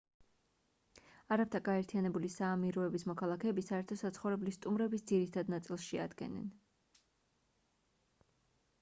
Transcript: არაბთა გაერთიანებული საამიროების მოქალაქეები საერთო საცხოვრებლის სტუმრების ძირითად ნაწილს შეადგენდნენ